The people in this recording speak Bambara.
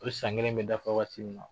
O san kelen bɛ dafa waati min na